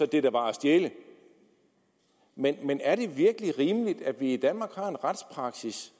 det der var at stjæle men men er det virkelig rimeligt at vi i danmark har en retspraksis